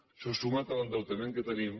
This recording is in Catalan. això sumat a l’endeutament que tenim